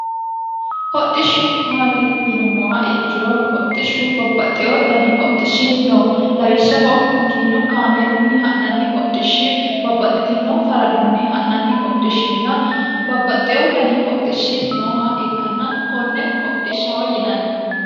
hodhishshu maati yinummoha ikkiro hodhishshu babbaxxeyo dani hodhishshi no lawishshaho makiinu kaameelunni ha'nanni hodhishshi babbaxxitino faradunni ha'nanni hodhishshinna babbaxxeyo dani hodhishshi nooha ikkanna konne hodhishshaho yinanni